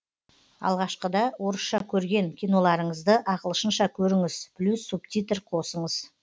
алғашқыда орысша көрген киноларыңызды ағылшынша көріңіз плюс субтитр қосыңыз